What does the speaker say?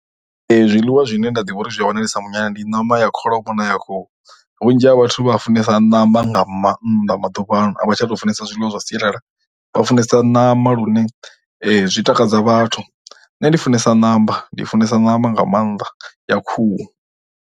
Zwiḽiwa zwine nda ḓivha uri zwi a wanalesa munyanyani ndi ṋama ya kholomo na ya khuhu, Vhunzhi ha vhathu vha funesa ṋama nga mannḓa maḓuvhaano, a vha tsha tou funesa zwiḽiwa zwa sialala, vha funesa ṋama lune zwi takadza vhathu, nṋe ndi funesa ṋama, ndi funesa ṋama nga maanḓa ya khuhu.